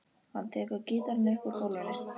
Hann tekur gítarinn upp úr gólfinu.